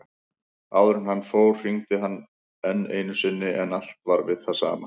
Áður en hann fór hringdi hann enn einu sinni en allt var við það sama.